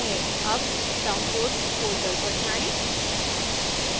अब downloads folder पर जाएं